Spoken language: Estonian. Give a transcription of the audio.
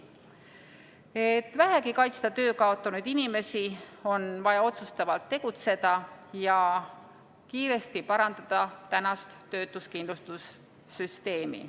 Et vähegi kaitsta töö kaotanud inimesi, on vaja otsustavalt tegutseda ja kiiresti parandada tänast töötuskindlustussüsteemi.